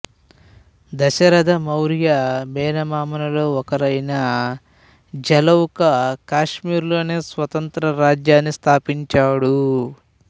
దశరథమౌర్య మేనమామలలో ఒకరైన జలౌకా కాశ్మీరులో స్వతంత్ర రాజ్యాన్ని స్థాపించాడు